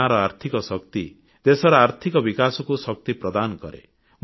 ଗାଁର ଆର୍ଥିକ ଶକ୍ତି ଦେଶର ଆର୍ଥିକ ବିକାଶକୁ ଶକ୍ତି ପ୍ରଦାନ କରେ